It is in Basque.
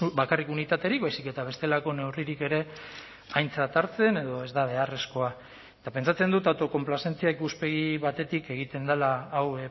bakarrik unitaterik baizik eta bestelako neurririk ere aintzat hartzen edo ez da beharrezkoa eta pentsatzen dut autokonplazentzia ikuspegi batetik egiten dela hau